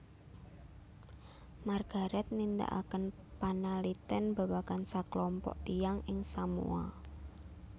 Margaret nindakaken panalitèn babagan saklompok tiyang ing Samoa